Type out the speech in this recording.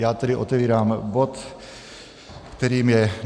Já tedy otevírám bod, kterým je